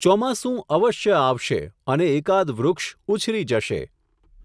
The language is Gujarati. ચોમાસું અવશ્ય આવશે, અને એકાદ વૃક્ષ ઊછરી જશે.